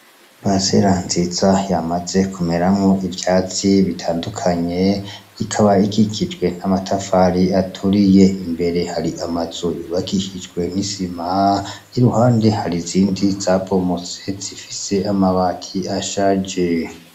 Parisera nziza yamaze kumeramwo ivyatsi bitandukanye , ikaba ikikijwe n'amatafari aturiye, imbere har'amazu yubakishijwe n'isima , iruhande har'inzindi zabomotse zifise amabati ashaje.